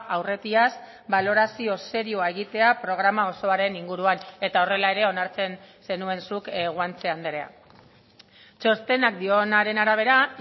aurretiaz balorazio serioa egitea programa osoaren inguruan eta horrela ere onartzen zenuen zuk guanche andrea txostenak dionaren arabera